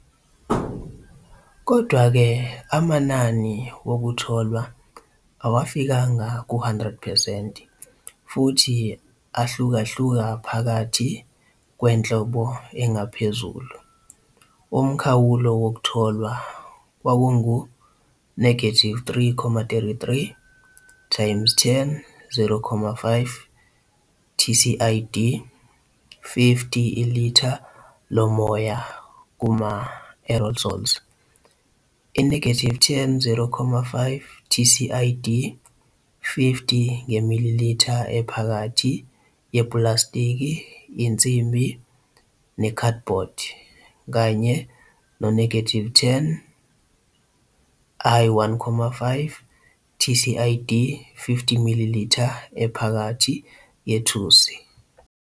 Kodwa-ke, amanani wokutholwa awafikanga ku-100 percent futhi ahlukahluka phakathi kwenhlobo engaphezulu, umkhawulo wokutholwa kwakungu-3.33 × 10 0.5 TCID 50 ilitha lomoya kuma-aerosols, i-10 0.5 TCID 50 nge-millilita ephakathi yepulasitiki, insimbi, nekhadibhodi, kanye no-10 I-1.5 TCID 50 millilita ephakathi yethusi.